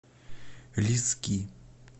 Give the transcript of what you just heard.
лиски